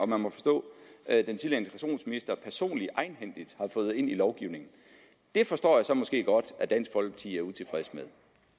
må man forstå personligt egenhændigt har fået ind i lovgivningen det forstår jeg så måske godt at dansk folkeparti er utilfreds med